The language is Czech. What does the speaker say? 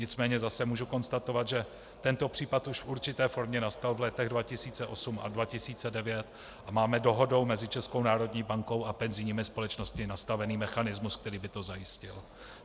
Nicméně zase můžu konstatovat, že tento případ už v určité formě nastal v letech 2008 a 2009, a máme dohodou mezi Českou národní bankou a penzijními společnostmi nastavený mechanismus, který by to zajistil.